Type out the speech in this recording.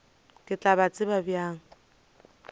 ke tla ba tseba bjang